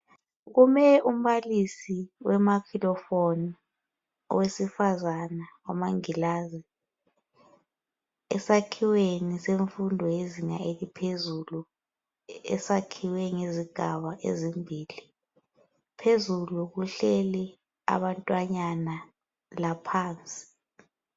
Kume umbalisi wemafilofoni owesifazana wamangilazi esakhiweni semfundo yezinga eliphezulu esakhiwe ngezigaba ezimbili phezulu kuhleli abantwanyana laphansi.